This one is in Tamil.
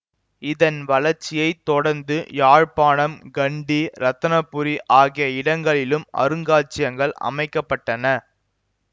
இதன் வளர்ச்சியை தொடர்ந்து யாழ்ப்பாணம் கண்டி இரத்தினபுரி ஆகிய இடங்களிலும் அருங்காட்சியகங்கள் அமைக்க பட்டன